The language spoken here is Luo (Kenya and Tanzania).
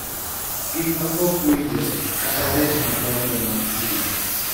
Gik ma ok winjre, kata ret madongo mag chuny,